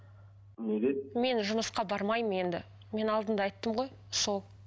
неге мен жұмысқа бармаймын енді мен алдында айттым ғой сол